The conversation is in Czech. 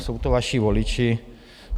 Jsou to vaši voliči.